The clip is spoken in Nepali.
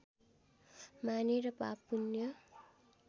मानेर पाप पुण्य